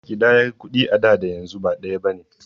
Ƙidayar kuɗi a da da yanzu ba ɗaya bane.